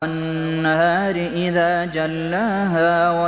وَالنَّهَارِ إِذَا جَلَّاهَا